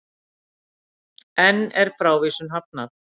Enn er frávísun hafnað